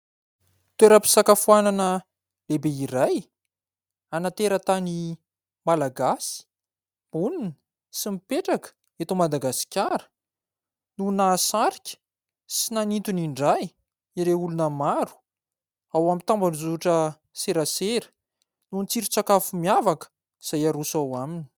Toeram-pisakafoanana lehibe iray ana tera-tany malagasy monina sy mipetraka eto Madagasikara, no nahasarika sy nanintona indray ireo olona maro ao amin'ny tambazotra serasera noho ny tsiron-tsakafo miavaka izay aroso ao aminy.